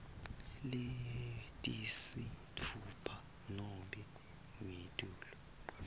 letisitfupha nobe ngetulu